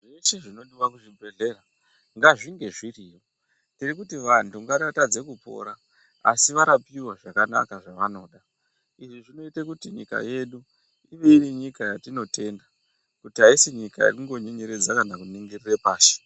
Zveshe zvinodiwa muzvibhedhlera ngazvinge zviriyo vanthu vanotadza kupora asi varapiwa zvakanaka zvavanoda izvi zvinoite kuti nyika yedu ive iri nyika yatinotenda kuti aisi nyika yekungonyenyeredza kana kuningirire pashi.